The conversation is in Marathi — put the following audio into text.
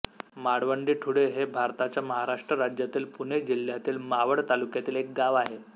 माळवंडी ठुळे हे भारताच्या महाराष्ट्र राज्यातील पुणे जिल्ह्यातील मावळ तालुक्यातील एक गाव आहे